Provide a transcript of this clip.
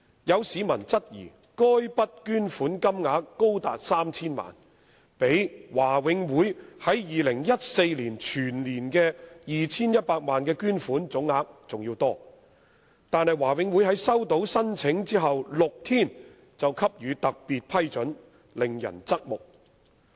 有市民質疑，該筆捐款金額高達 3,000 萬元，比華永會在2014年全年的 2,100 萬元捐款總額還要多，但華永會在收到申請的6天後便予以批准，令人側目。